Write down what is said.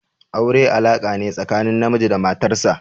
Aure alaka ne tsakanin namiji da matar sa.